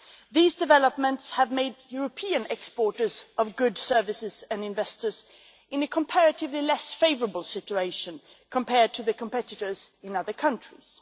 These developments have put European exporters of goods, services and investors in a comparatively less favourable situation compared to their competitors in other countries.